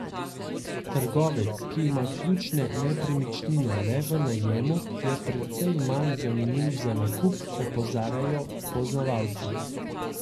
Trgovec, ki ima ključne nepremičnine le v najemu, je precej manj zanimiv za nakup, opozarjajo poznavalci.